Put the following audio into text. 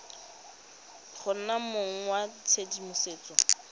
go nna mong wa tshedimosetso